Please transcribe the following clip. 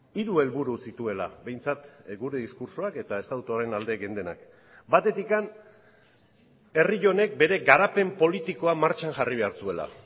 hiru helburu zituela behintzat gure diskurtsoak eta estatutuaren alde geundenak batetik herri honek bere garapen politikoa martxan jarri behar zuela